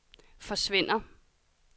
forsvinder